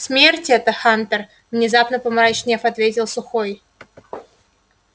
смерть это хантер внезапно помрачнев ответил сухой